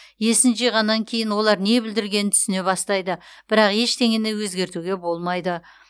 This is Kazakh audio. есін жиғаннан кейін олар не бүлдіргенін түсіне бастайды бірақ ештеңені өзгертуге болмайды